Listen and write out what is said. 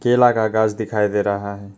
केला का गाछ दिखाई दे रहा है।